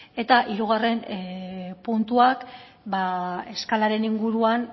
eta hirugarren puntuak eskalaren inguruan